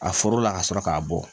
A foro la ka sɔrɔ k'a bɔ